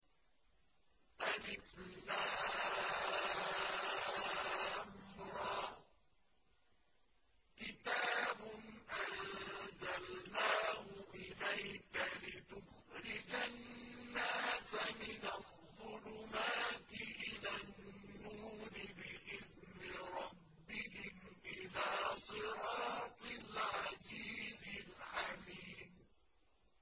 الر ۚ كِتَابٌ أَنزَلْنَاهُ إِلَيْكَ لِتُخْرِجَ النَّاسَ مِنَ الظُّلُمَاتِ إِلَى النُّورِ بِإِذْنِ رَبِّهِمْ إِلَىٰ صِرَاطِ الْعَزِيزِ الْحَمِيدِ